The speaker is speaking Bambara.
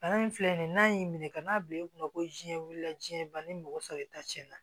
Bana in filɛ nin ye n'a y'i minɛ ka n'a bila i kunna ko jɛn wulila jɛnbana ni mɔgɔ sɔrɔ ta tiɲɛna